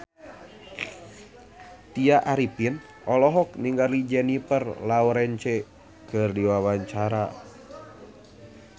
Tya Arifin olohok ningali Jennifer Lawrence keur diwawancara